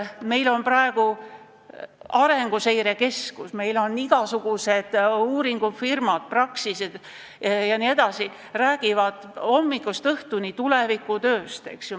Meil on Arenguseire Keskus, meil on igasugused uuringufirmad, Praxis jne, kes räägivad hommikust õhtuni tulevikutööst.